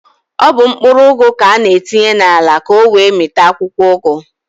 Ọ bụ mkpụrụ ụgụ ka an-etinye n'ala ka ọ wee mịta akwụkwọụgụ.